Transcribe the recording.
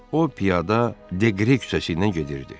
O piyada Deqre küçəsi ilə gedirdi.